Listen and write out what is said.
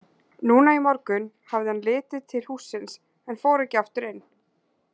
Núna í morgun hafði hann litið til hússins en fór ekki aftur inn.